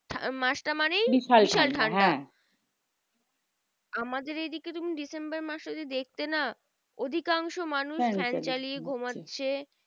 মাসটা মানে বিশাল আমাদের এই দিকে তুমি ডিসেম্বর মাসে যদি দেখতে না অধিকাংশ মানুষ fan চালিয়ে ঘুমাচ্ছে।